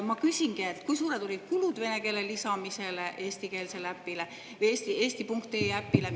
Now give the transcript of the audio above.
Ma küsingi: kui suured olid vene keele lisamise kulud eestikeelsele äpile, eesti.ee äpile?